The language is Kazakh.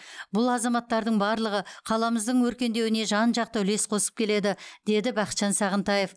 бұл азаматтардың барлығы қаламыздың өркендеуіне жан жақты үлес қосып келеді деді бақытжан сағынтаев